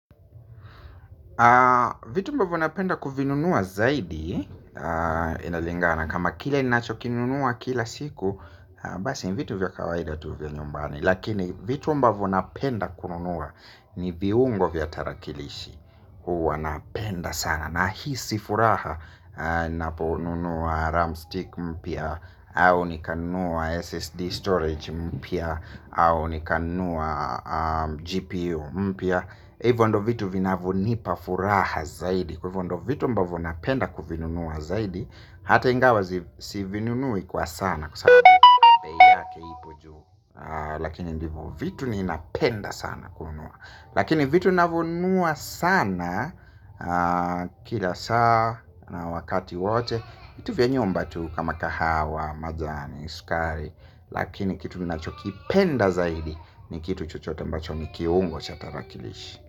Vitu ambavyo napenda kuvinunua zaidi inalingana kama kila ninachokinunua kila siku. Basi vitu vya kawaida tu vya nyumbani. Lakini vitu ambavyo napenda kununua ni viungo vya tarakilishi. Huwa napenda sana nahisi furaha. Naponunua RAM stick mpya au nikanunua SSD storage mpya au nikanunua GPU mpya. Hivyo ndiyo vitu vinavyonipa furaha zaidi. Kwa hivyo ndiyo vitu ambavyo napenda kuvinunua zaidi. Hata ingawa sivinunue kwa sana kwa sana kwa sababu bei yake ipo juu. Lakini ndivyo vitu ninapenda sana kununua. Lakini vitu navyonunua sana. Kila saa na wakati wote vitu vya nyumba tu kama kahawa, majani, sukari. Lakini kitu ninachokipenda zaidi ni kitu chochote ambacho ni kiungo cha tarakilishi.